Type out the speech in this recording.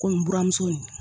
Ko n buramuso ye